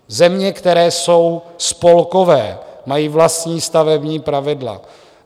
Země, které jsou spolkové, mají vlastní stavební pravidla.